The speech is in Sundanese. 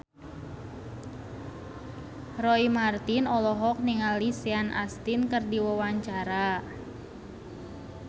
Roy Marten olohok ningali Sean Astin keur diwawancara